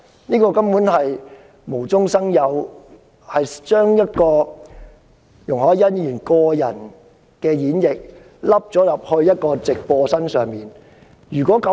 這根本是無中生有的，是容海恩議員將個人演繹硬套在他的直播行為之上。